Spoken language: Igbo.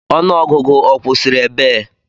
Ọnụọgụgụ ọ kwụsịrị ebee?